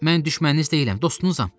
Mən düşməniniz deyiləm, dostunuzam.